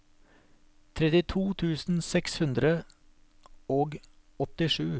trettito tusen seks hundre og åttisju